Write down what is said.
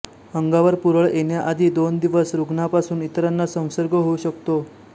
अंगावर पुरळ येण्याआधी दोन दिवस रुग्णापासून इतराना संसर्ग होऊ शकतो